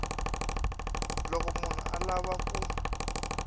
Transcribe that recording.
loko munhu a lava ku